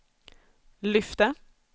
lyfte